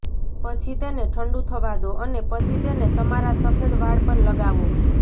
પછી તેને ઠંડુ થવા દો અને પછી તેને તમારા સફેદ વાળ પર લગાવો